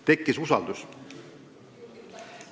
Tekkis usaldus.